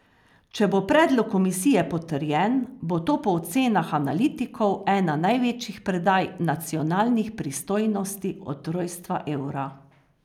Če bo predlog komisije potrjen, bo to po ocenah analitikov ena največjih predaj nacionalnih pristojnosti od rojstva evra.